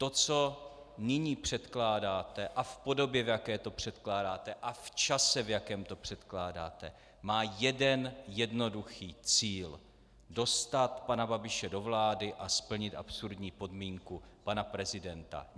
To, co nyní předkládáte, a v podobě, v jaké to předkládáte, a v čase, v jakém to předkládáte, má jeden jednoduchý cíl: dostat pana Babiše do vlády a splnit absurdní podmínku pana prezidenta.